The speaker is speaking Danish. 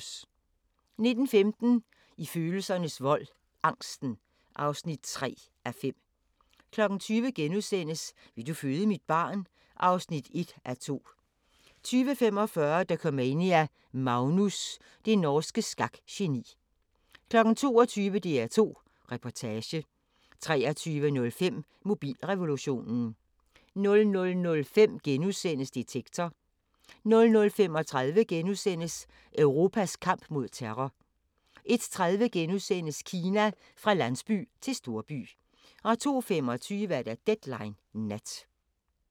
19:15: I følelsernes vold - angsten (3:5) 20:00: Vil du føde mit barn? (1:2)* 20:45: Dokumania: Magnus – det norske skakgeni 22:00: DR2 Reportage 23:05: Mobilrevolutionen 00:05: Detektor * 00:35: Europas kamp mod terror * 01:30: Kina: Fra landsby til storby * 02:25: Deadline Nat